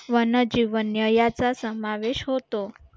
वनजीवन्य याचा समावेश होतो